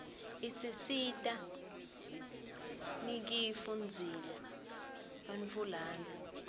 isisita nifkifu ndzila bantfuiana